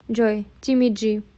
джой тимми джи